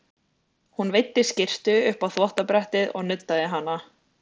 Hún veiddi skyrtu upp á þvottabrettið og nuddaði hana.